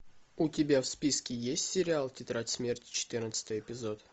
у тебя в списке есть сериал тетрадь смерти четырнадцатый эпизод